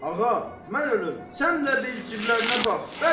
Ağa, mən ölüm, sən də bir ciblərə bax.